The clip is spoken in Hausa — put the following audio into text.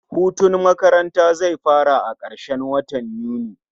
Hutun makaranata zai fara a karshen watan Yuni